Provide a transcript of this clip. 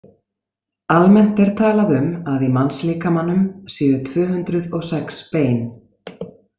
Almennt er talað um að í mannslíkamanum séu tvö hundruð og sex bein.